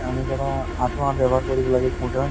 আমি ধৰা আঠুৱা ব্যবহাৰ কৰিব লাগে